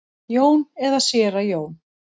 Jón eða séra Jón?